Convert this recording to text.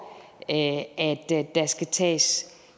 at der skal tages